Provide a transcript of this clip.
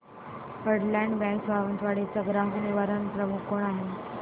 federal bank Sawantwadi चा ग्राहक निवारण प्रमुख कोण आहे